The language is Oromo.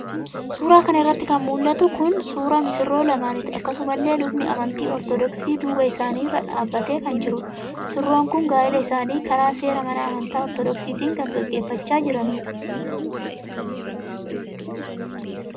Suura kana irratti kan mul'atu kun suura misirroo lamaaniiti. Akkasumalle Lubni Amantii Ortoodoksi duuba isaanii irraan dhaabbatee kan jirudha. Misirroon kun Gaa'ila isaanii karaa seera mana amantaa Ortoodoksiitii kan gaggeeffachaa jiranidha.